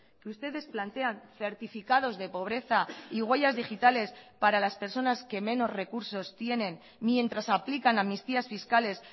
que ustedes plantean certificados de pobreza y huellas digitales para las personas que menos recursos tienen mientras aplican amnistías fiscales